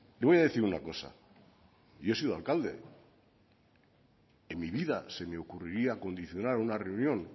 le voy a decir una cosa yo he sido alcalde en mi vida se me ocurriría condicionar una reunión